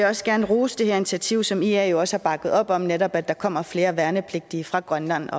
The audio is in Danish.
også gerne rose det her initiativ som ia jo også har bakket op om netop det at der kommer flere værnepligtige fra grønland